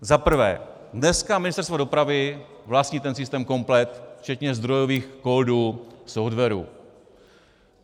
Za prvé, dneska Ministerstvo dopravy vlastní ten systém komplet včetně zdrojových kódů softwaru.